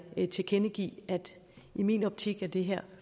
tilkendegive at i min optik er det her